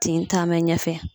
Tin taa bɛ ɲɛfɛ.